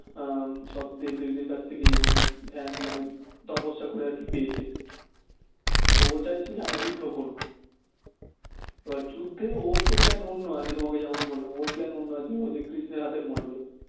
উম সব দেবদেবীর কাছ থেকে মানে ধ্যান তপস্যা করে আরকি পেয়েছে তো ও চাইছিলো আমি যুদ্ধ করবো এবার যুদ্ধে ওর তো plan অন্য আছে তোমাকে যেমন বললাম ওর plan অন্য আছে ওইযে কৃষ্ণের হাতে মরবে